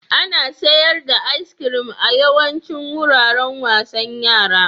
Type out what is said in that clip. Ana sayar da iskirin a yawaicin wuraren wasan yara.